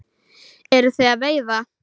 Eruð þið að veiða?